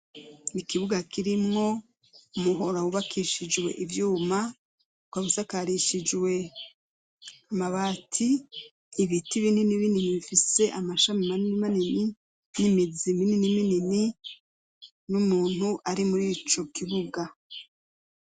Ikibuga kirimwo umuhora wubakishijwe ivyuma. Ukaba usakarishijwe amabati, ibiti binini binini, bifise amashami manini manini, n'imizi muniniminini, n'umuntu ari muri ico kibuga.